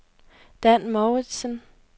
Dan Mouritzen